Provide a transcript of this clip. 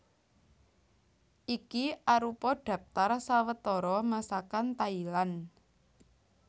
Iki arupa dhaptar sawetara Masakan Thailand